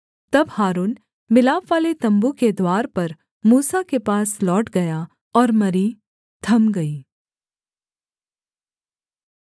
तब हारून मिलापवाले तम्बू के द्वार पर मूसा के पास लौट गया और मरी थम गई